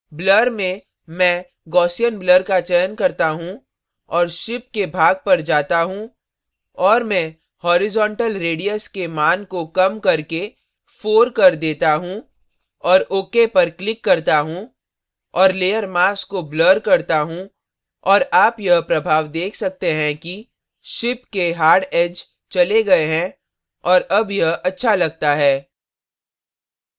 blur में मैं gaussian blur का चयन करता choose और ship के भाग पर जाता choose और मैं horizontal radius के मान को कम करके 4 कर देता choose और ok पर click करता choose और layer mask को blur करता choose और आप यह प्रभाव देख सकते हिं कि ship के hard edge hard edge चले गए हैं और अब यह अच्छा लगता है